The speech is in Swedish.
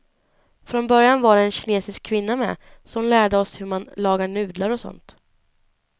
Från början var det en kinesisk kvinna med, så hon lärde oss hur man lagar nudlar och sånt.